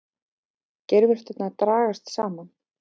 Geirvörturnar dragast saman.